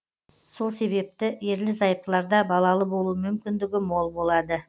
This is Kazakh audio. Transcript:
сол себепті ерлі зайыптыларда балалы болу мүмкіндігі мол болады